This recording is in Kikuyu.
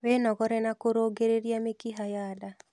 Wĩnogore na kũrũngĩrĩria mĩkiha ya nda